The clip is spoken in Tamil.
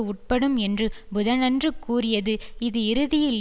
உட்படும் என்று புதனன்று கூறியது இது இறுதியில்